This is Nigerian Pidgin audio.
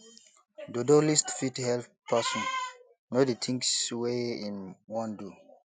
dodo list fit help person no di things wey im wan do